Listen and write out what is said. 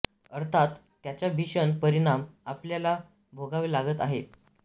अर्थात त्याचा भीषण परिणाम आपल्याला भोगावं लागत आहेत